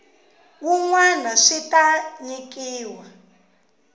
wun wana swi ta nyikiwa